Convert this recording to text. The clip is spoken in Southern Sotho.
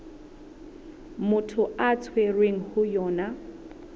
motho a tshwerweng ho yona